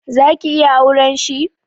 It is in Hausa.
Zaki iya auren shi?